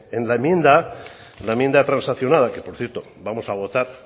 en la enmienda la enmienda transaccionada que por cierto vamos a votar